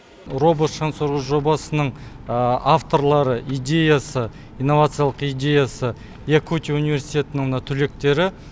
робот шаңсорғыш жобасының авторлары идеясы инновациялық идеясы якутия университетінің мына түлектері